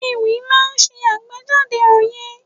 Ewì máa ń ṣe àgbéjáde òye.